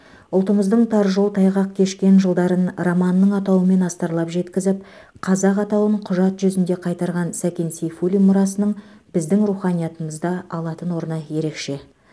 ұлтымыздың тар жол тайғақ кешкен жылдарын романының атауымен астарлап жеткізіп қазақ атауын құжат жүзінде қайтарған сәкен сейфуллин мұрасының біздің руханиятымызда алатын орны ерекше